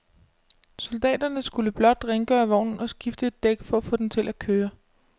Soldaterne skulle blot rengøre vognen og skifte et dæk for at få den til at køre.